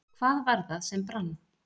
Hvað var það sem brann?